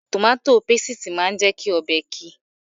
Tòmátò pasìtì máa ń jẹ́ kí ọbẹ̀ ki